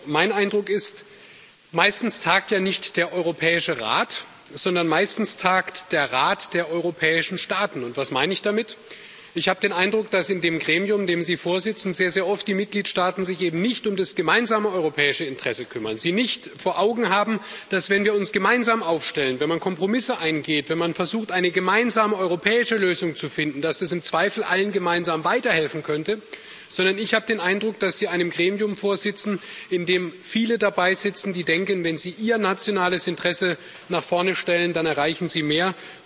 Nur, mein Eindruck ist Meistens tagt ja nicht der Europäische Rat, sondern meistens tagt der Rat der europäischen Staaten. Was meine ich damit? Ich habe den Eindruck, dass in dem Gremium, dem Sie vorsitzen, die Mitgliedstaaten sich sehr, sehr oft eben nicht um das gemeinsame europäische Interesse kümmern, sie nicht vor Augen haben, dass, wenn wir uns gemeinsam aufstellen, wenn man Kompromisse eingeht, wenn man versucht, eine gemeinsame europäische Lösung zu finden, dass das im Zweifel allen gemeinsam weiterhelfen könnte, sondern ich habe den Eindruck, dass Sie einem Gremium vorsitzen, in dem viele dabeisitzen, die denken, wenn sie ihr nationales Interesse nach vorne stellen, dann erreichen sie mehr.